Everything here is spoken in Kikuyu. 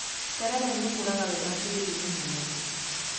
Terere nĩ ũkũraga wega tĩĩri-inĩ mũnoru.